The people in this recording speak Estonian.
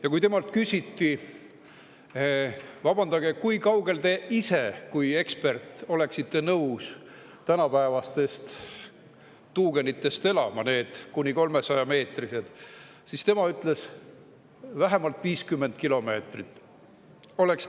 Ja kui temalt küsiti: "Vabandage, kui kaugel te ise kui ekspert oleksite nõus tänapäevastest kuni 300-meetristest tuugenitest elama?" siis tema ütles, et tema valik oleks vähemalt 50 kilomeetrit.